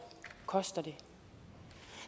koster det